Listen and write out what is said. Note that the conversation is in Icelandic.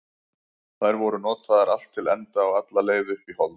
Þær voru notaðar allt til enda og alla leið upp í hold.